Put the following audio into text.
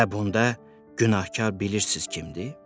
Və bunda günahkar bilirsiz kimdir?